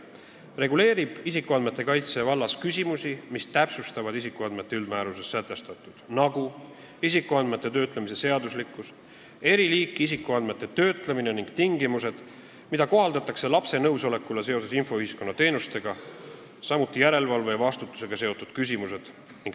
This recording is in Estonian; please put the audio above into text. See reguleerib isikuandmete kaitse vallas küsimusi, mis täpsustavad isikuandmete kaitse üldmääruses sätestatut, nagu isikuandmete töötlemise seaduslikkust, eri liiki isikuandmete töötlemist ning tingimusi, mida kohaldatakse lapse nõusolekule seoses infoühiskonna teenustega, samuti järelevalve ja vastutusega seotud küsimusi.